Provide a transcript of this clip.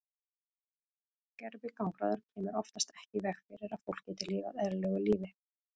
Gervigangráður kemur oftast ekki í veg fyrir að fólk geti lifað eðlilegu lífi.